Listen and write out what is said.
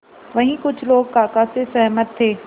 वहीं कुछ लोग काका से सहमत थे